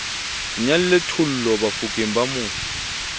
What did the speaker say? nyalle thollo bafokeng ba mo